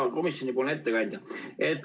Hea komisjoni ettekandja!